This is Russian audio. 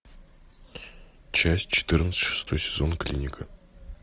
часть четырнадцать шестой сезон клиника